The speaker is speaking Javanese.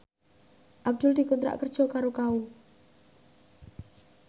Abdul dikontrak kerja karo Kao